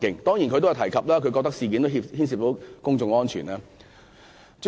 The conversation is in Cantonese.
當然，他也提到因為事件牽涉公眾安全。